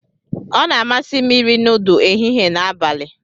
Ọ na-amasị m iri nudu ehihie na abalị.